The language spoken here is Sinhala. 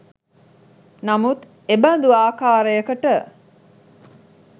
නමුත් එබඳු ආකාරයකට